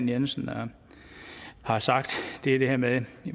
jensen har sagt det er det her med at